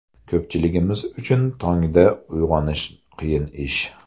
Ko‘pchiligimiz uchun tongda uyg‘onish qiyin ish.